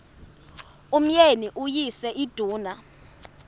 umyeni uyise iduna